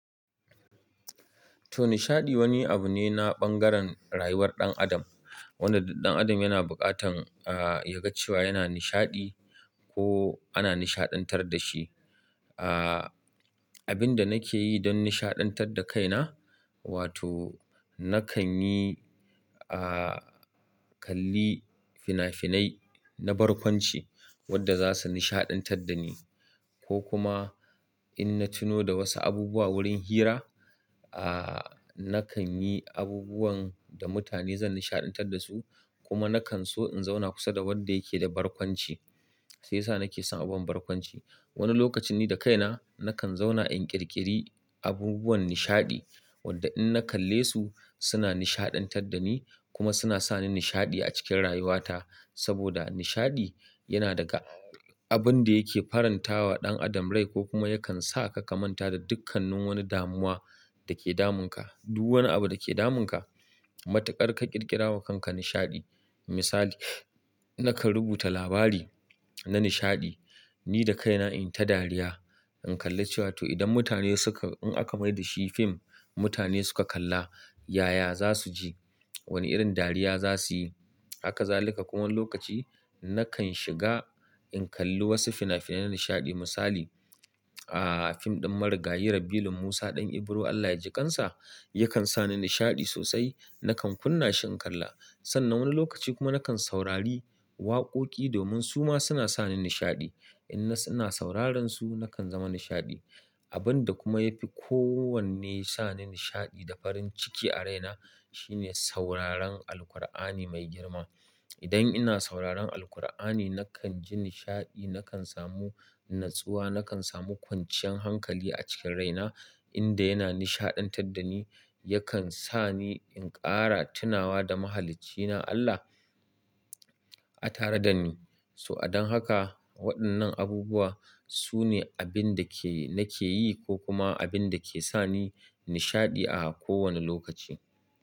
To nishaɗi wani abu ne na bangaren rayuwar ɗan adam. Wanda duk ɗan adam yana buƙatan, a, ya ga cewa yana nishaɗi ko ana nishaɗantar da shi. A, abinda nakeyi don nishaɗantar da kaina wato nakanyi a, kalli fina finai na barkwanci wanda za su nishaɗantar da ni ko kuma in na tuno da wasu abubuwa wurin hira, a, nakan yi abubuwan da mutane zan nishaɗantar da su kuma nakan so in zauna kusa da wanda yake da barkwanci. Sai sa nake son abun barkwanci. Wani lokacin ni da kaina nakan zauna in ƙirƙiri abubuwan nishaɗi wadda in na kalle su suna nishaɗantar da ni kuma suna sa ni nishaɗi a cikin rayuwata. Saboda nishaɗi yana daga abun da yake farantawa ɗan adam rai ko kuma yakan sa ka kamanta da dukkanin wani damuwa da ke damunka. Duk wani abu da ke damunka matuƙar ka ƙirƙira wa kanka nishaɗi. Misali, nakan rubuta labari na nishaɗi ni da kaina in ta dariya in kalli cewa to idan mutane suka-- in aka mai da shi fim mutane suka kalla, yaya za su ji? Wani irin dariya za su yi? Haka za lika kuma wani lokaci nakan shiga in kalli wasu fina-finai na nishaɗi. Misali, a, fim ɗin Marigayi Rabilu Musa ɗan Ibro Allah yaji ƙansa yakan sa ni nishaɗi sosai. Nakan kunna shi in kalla. Sannan wani lokaci kuma nakan saurari waƙoƙi domin su ma suna sa ni nishaɗi. In na sauraron su nakan zama nishaɗi. Abun da kuma ya fi kowanne sa ni nishaɗi da farin ciki a raina shine sauraron Alqur'ani mai girma. Idan ina sauraron Alqur'ani nakan ji nishaɗi, nakan samu natsuwa, nakan samu kwanciyan hankali a cikin raina inda yana nishaɗantar da ni, yakan sa ni in ƙara tunawa da Mahaliccina Allah a tare da ni. To a don haka waɗannan abubuwa su ne abin da ke nake yi ko kuma abin da ke sa ni nishaɗi a kowane lokaci.